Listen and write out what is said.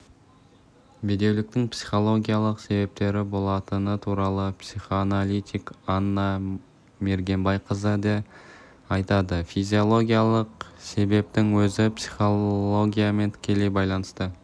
бедеуліктің психологиялық себептері болатыны туралы психоаналитик анна мергенбайқызы да айтады физиологиялық себептің өзі психологиямен тікелей байланысты